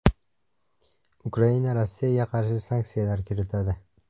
Ukraina Rossiyaga qarshi sanksiyalar kiritadi.